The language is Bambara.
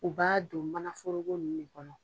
U b'a don manaforogo ninnu de kɔnɔ.